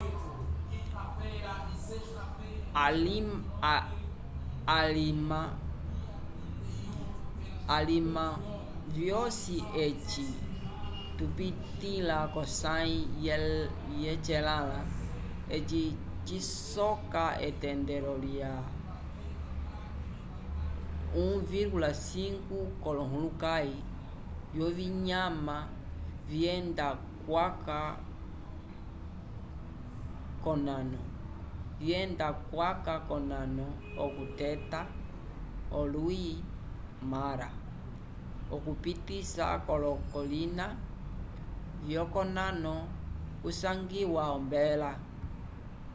alima vyosi eci tupitĩla k'osãyi yecelãla eci cisoka etendelo lya 1,5 k'olohulukãyi vyovinyama vyenda kwaca k'onano okuteta olwi mara okupisa k'olokolina vyokonano kusangiwa ombela